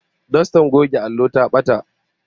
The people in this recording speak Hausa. Dostar goge allo ta bata